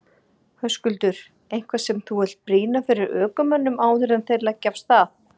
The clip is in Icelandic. Höskuldur: Eitthvað sem þú vilt brýna fyrir ökumönnum áður en þeir leggja af stað?